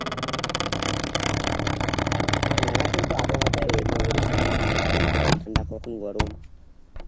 হ্যাঁ এখন তো আবহাওয়াটা মানে ওইরকম মানে কখন ঠান্ডা কখন গরম